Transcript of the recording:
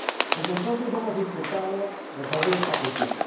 Desde entonces hemos intentado resolver esta cuestión.